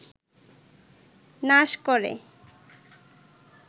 নাশ করে